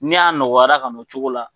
Ni a nɔgɔyara ka na o cogo la